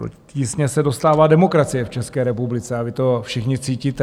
Do tísně se dostává demokracie v České republice a vy to všichni cítíte.